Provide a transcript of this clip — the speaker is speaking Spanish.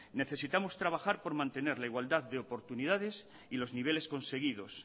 necesitamos trabajar por mantener la igualdad de oportunidades y los niveles conseguidos